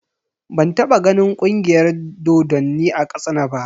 Ban taɓa ganin Ƙungiyar dodonni a Katsina ba.